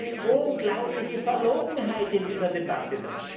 Da ist doch eine unglaubliche Verlogenheit in dieser Debatte!